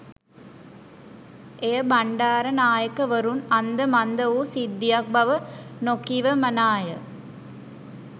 එය බණ්ඩාරනායකවරුන් අන්ද මන්ද වූ සිද්ධියක් බව නොකිවමනාය